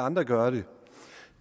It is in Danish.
andre gøre det